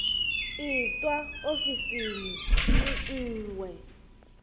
itwa ofisini i ṅ we